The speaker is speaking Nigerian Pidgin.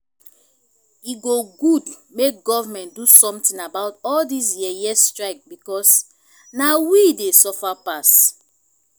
e good make government do something about all dis yeye strike because na we dey suffer passs